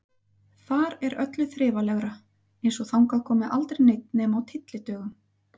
Þar er öllu þrifalegra, eins og þangað komi aldrei neinn nema á tyllidögum.